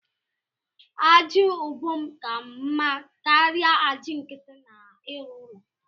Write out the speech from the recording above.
Aja ubom ka mma karia aja nkiti n’ịrụ ụlọ